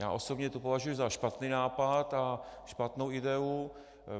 Já osobně to považuji za špatný nápad a špatnou ideu.